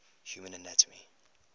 human anatomy